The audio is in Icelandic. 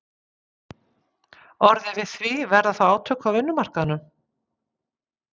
orðið við því, verða þá átök á vinnumarkaðnum?